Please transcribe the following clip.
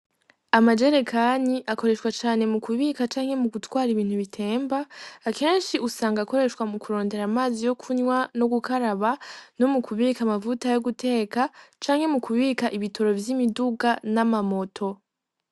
Amajerekani akoreshwa cane mukubika canke mu gutwara ibintu bitemba ,akenshi usanga akoreshwa mu kurondera amazi yo kunywa no gukaraba no mukubika amavuta yoguteka canke mukubika ibitoro vyimiduga namamoto.